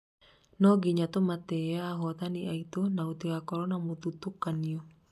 no nginya tumatiĩ ahotani aitũ na gũtigakorwo na mũthutukanio